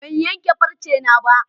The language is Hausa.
Ban yanke farcena ba.